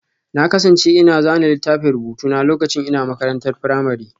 Na kasance ina zana littafan rubutu na lokacin ina makarantar firamare